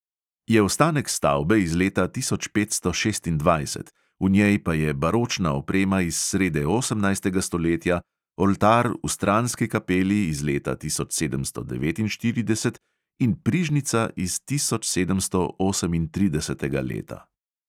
Je ostanek stavbe iz leta tisoč petsto šestindvajset, v njej pa je baročna oprema iz srede osemnajstega stoletja, oltar v stranski kapeli iz leta tisoč sedemsto devetinštirideset in prižnica iz tisočsedemstoosemintridesetega leta.